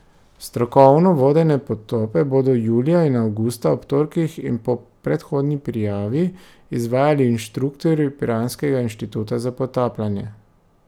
Strokovno vodene potope bodo julija in avgusta, ob torkih in po predhodni prijavi, izvajali inštruktorji piranskega Inštituta za potapljanje.